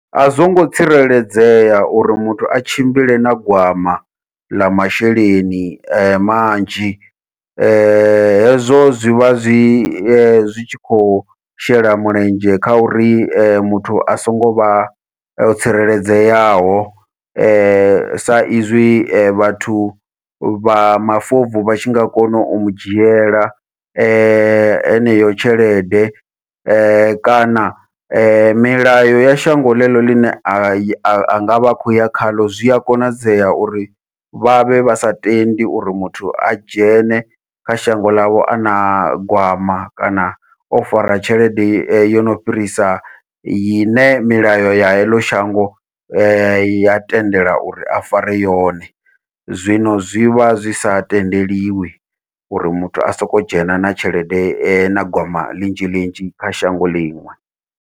A zwongo tsireledzea uri muthu a tshimbile na gwama ḽa masheleni manzhi, hezwo zwi vha zwi ye zwi tshi khou shela mulenzhe kha uri muthu a songo vha o tsireledzeaho sa izwi vhathu vha mafobvu vha tshi nga kona u mudzhiela heneyo tshelede, kana milayo ya shango ḽeḽo ḽine a nga vha a khou ya khaḽo zwi a konadzea uri vha vhe vha sa tendi uri muthu a dzhene kha shango ḽavho ana gwama kana o fara tshelede yo no fhirisa ine milayo ya heḽo shango ya tendela uri a fare yone, zwino zwivha zwi sa tendeliwi uri muthu a soko dzhena na tshelede na gwama ḽinzhi ḽinzhi kha shango liṅwe.